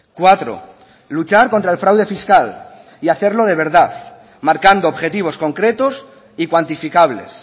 cuatro luchar contra el fraude fiscal y hacerlo de verdad marcando objetivos concretos y cuantificables